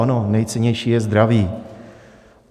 Ano, nejcennější je zdraví.